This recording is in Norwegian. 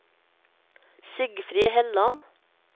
Sigfrid Helland